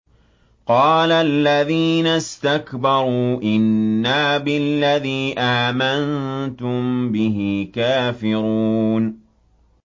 قَالَ الَّذِينَ اسْتَكْبَرُوا إِنَّا بِالَّذِي آمَنتُم بِهِ كَافِرُونَ